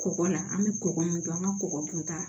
Kɔgɔ la an bɛ kɔgɔ min don an ka kɔgɔ kunta